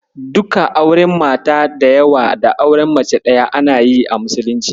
Duka auren mata da yawa da auren mace ɗaya ana yin su a Musulunci.